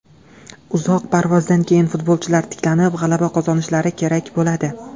Uzoq parvozdan keyin futbolchilar tiklanib, g‘alaba qozonishlari kerak bo‘ladi.